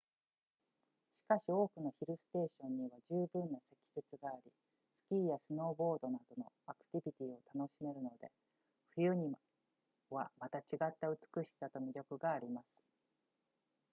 しかし多くのヒルステーションには十分な積雪がありスキーやスノーボードなどのアクティビティを楽しめるので冬にはまた違った美しさと魅力があります